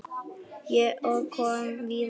Og kom víða við.